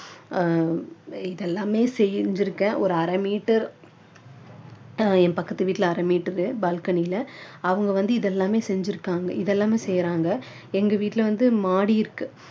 அஹ் இதெல்லாமே செஞ்சி இருக்கேன் ஒரு அரை meter என் பக்கத்து வீட்டுல அரை meter balcony ல அவங்க வந்து இது எல்லாமே செஞ்சிருக்காங்க இதெல்லாமே செய்றாங்க எங்க வீட்டுல வந்து மாடி இருக்கு